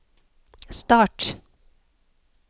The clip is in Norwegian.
start